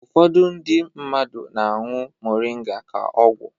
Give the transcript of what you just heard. Ụfọdụ ndị mmadụ na-añụ Moringa ka ọgwụ.